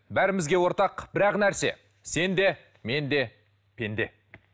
бәрімізге ортақ бір ақ нәрсе сен де мен де пенде